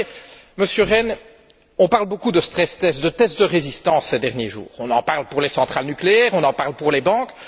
Vous savez, Monsieur Rehn, on parle beaucoup de stress tests de tests de résistance, ces derniers jours. On en parle pour les centrales nucléaires, on en parle pour les banques.